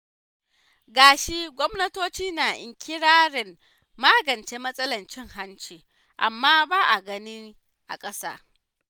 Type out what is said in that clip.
Ga shi gwamnatoci na iƙirarin magance matsalar cin hanci, amma ba a gani a ƙasa.